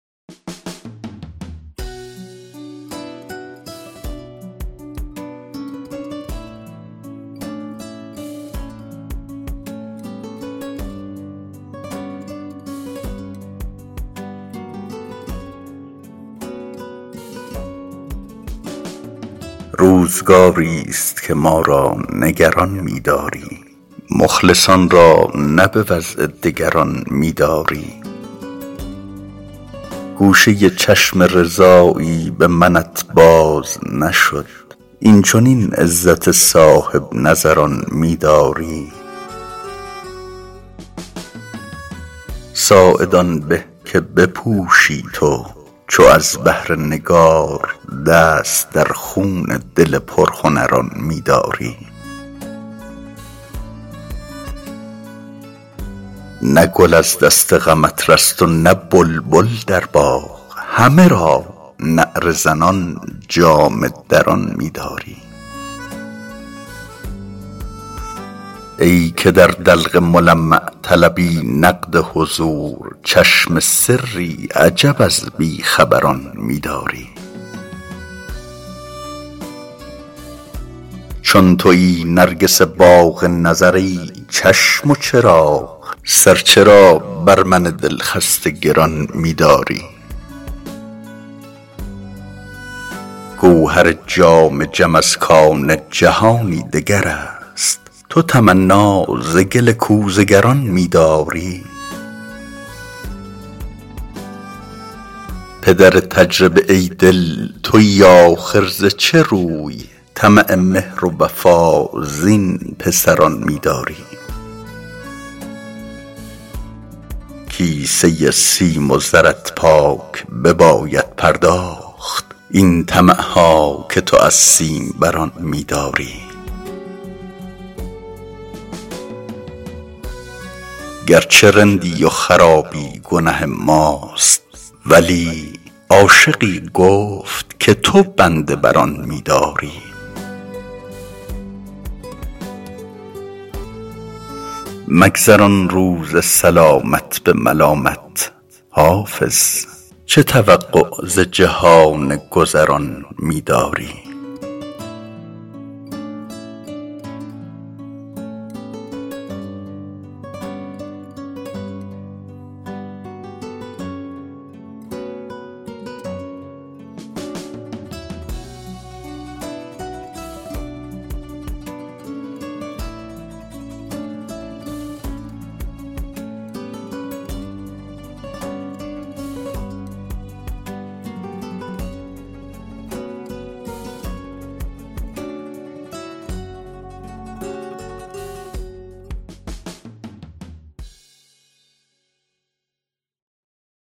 روزگاری ست که ما را نگران می داری مخلصان را نه به وضع دگران می داری گوشه چشم رضایی به منت باز نشد این چنین عزت صاحب نظران می داری ساعد آن به که بپوشی تو چو از بهر نگار دست در خون دل پرهنران می داری نه گل از دست غمت رست و نه بلبل در باغ همه را نعره زنان جامه دران می داری ای که در دلق ملمع طلبی نقد حضور چشم سری عجب از بی خبران می داری چون تویی نرگس باغ نظر ای چشم و چراغ سر چرا بر من دل خسته گران می داری گوهر جام جم از کان جهانی دگر است تو تمنا ز گل کوزه گران می داری پدر تجربه ای دل تویی آخر ز چه روی طمع مهر و وفا زین پسران می داری کیسه سیم و زرت پاک بباید پرداخت این طمع ها که تو از سیم بران می داری گر چه رندی و خرابی گنه ماست ولی عاشقی گفت که تو بنده بر آن می داری مگذران روز سلامت به ملامت حافظ چه توقع ز جهان گذران می داری